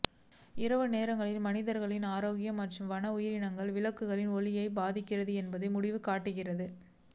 இரவு நேரங்களில் மனிதர்களின் ஆரோக்கியம் மற்றும் வன உயிரினங்கள் விளக்குகளின் ஒளியைப் பாதிக்கின்றன என்பதை முடிவு காட்டுகிறது